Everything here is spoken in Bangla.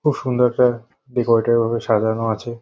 খুব সুন্দর একটা ডেকোরেটেড ভাবে সাজানো আছে।